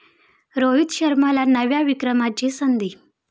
रोहित शर्माला नव्या विक्रमाची संधी